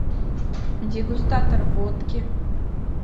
дегустатор водки